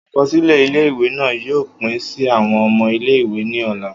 Akọsilẹ ile-iwe naa yoo pin si awọn ọmọ ile-iwe ni ọla.